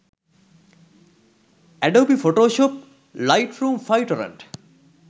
adobe photoshop lightroom 5 torrent